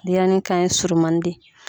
Denɲɛrɛnin kan ye surumanin de ye.